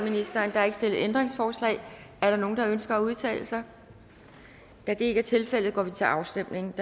der er ikke stillet ændringsforslag er der nogen der ønsker at udtale sig da det ikke er tilfældet går vi til afstemning